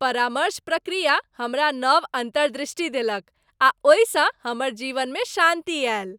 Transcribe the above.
परामर्श प्रक्रिया हमरा नव अन्तर्दृष्टि देलक आ ओहिसँ हमर जीवनमे शान्ति आयल।